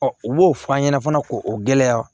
u b'o fɔ an ɲɛna fana ko o gɛlɛya